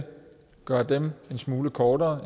gør dem en smule kortere